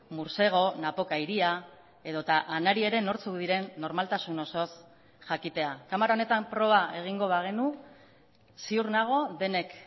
mursego napoka iria edota anari ere nortzuk diren normaltasun osoz jakitea kamara honetan proba egingo bagenu ziur nago denek